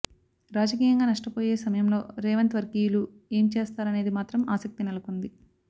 రాజకీయంగా నష్టపోయే సమయంలో రేవంత్ వర్గీయులు ఏం చేస్తారనేది మాత్రం ఆసక్తి నెలకొంది